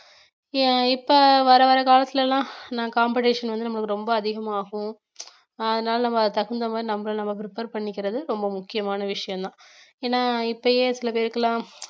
அஹ் இப்ப வர வர காலத்துல எல்லாம் நா competition வந்து நம்மளுக்கு ரொம்ப அதிகமாகும் அதனால நம்ம அதுக்கு தகுந்த மாதிரி நம்மள நாம prepare பண்ணிக்கிறது ரொம்ப முக்கியமான விஷயம்தான் ஏன்னா இப்பயே சில பேருக்குலாம்